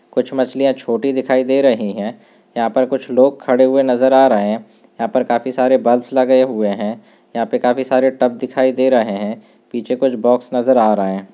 कुछ मछलियां छोटी दिखाई दे रही हैं यहां पर कुछ लोग खड़े हुए नजर आ रहे हैं यहां पर काफी सारे बल्ब्स लगे हुए हैं यहां पर काफी सारे टब दिखाई दे रहे हैं पीछे कुछ बॉक्स नजर आ रहा है।